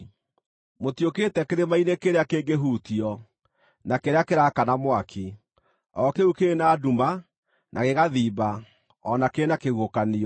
Mũtiũkĩte kĩrĩma-inĩ kĩrĩa kĩngĩhutio, na kĩrĩa kĩraakana mwaki; o kĩu kĩrĩ na nduma, na gĩgathimba, o na kĩrĩ na kĩhuhũkanio;